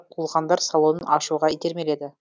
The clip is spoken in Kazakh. қуылғандар салонын ашуға итермеледі